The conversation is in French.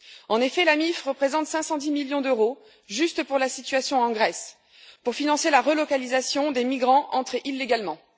En effet, l'AMIF représente 510 millions d'euros, juste pour la situation en Grèce, pour financer la relocalisation des migrants entrés illégalement.